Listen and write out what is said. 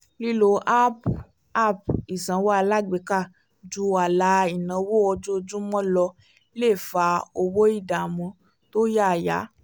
lílo áápù app ìsanwó alágbèéká ju ààlà ináwó ojoojúmọ́ lọ lè fa owó ìdáàmú tó yáyà